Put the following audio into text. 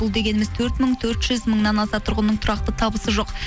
бұл дегеніміз төрт мың төрт жүз мыңнан аса тұрғынның тұрақты табысы жоқ